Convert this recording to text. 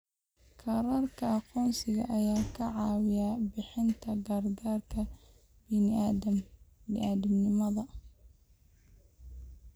Kaararka aqoonsiga ayaa ka caawiya bixinta gargaarka bini'aadantinimo.